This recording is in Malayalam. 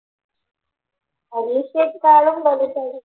പരീക്ഷയെക്കാളും വലുതാണ്.